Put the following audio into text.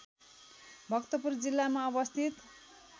भक्तपुर जिल्लामा अवस्थित